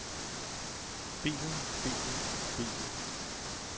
bilen bilen bilen